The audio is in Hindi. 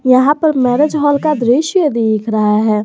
यहां पर मैरिज हॉल का दृश्य भी दिख रहा है।